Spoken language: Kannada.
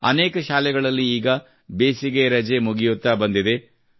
ಅನೇಕ ಶಾಲೆಗಳಲ್ಲಿ ಈಗ ಬೇಸಿಗೆ ರಜ ಮುಗಿಯುತ್ತಾ ಬಂದಿದೆ